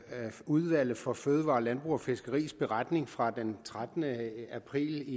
udvalget for fødevarer landbrug og fiskeris beretning fra den trettende april